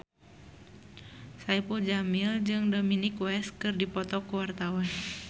Saipul Jamil jeung Dominic West keur dipoto ku wartawan